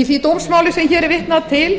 í því dómsmáli sem hér er vitnað til